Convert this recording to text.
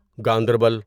Ganderbal